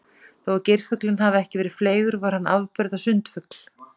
Þó að geirfuglinn hafi ekki verið fleygur var hann afburða sundfugl.